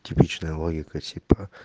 типичная логика типа